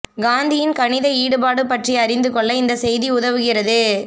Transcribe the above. காந்தியின் கணித ஈடுபாடு பற்றி அறிந்து கொள்ள இந்த செய்தி உதவுகிறது